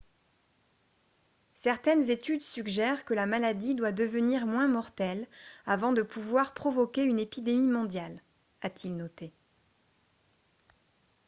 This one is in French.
certaines études suggèrent que la maladie doit devenir moins mortelle avant de pouvoir provoquer une épidémie mondiale a-t-il noté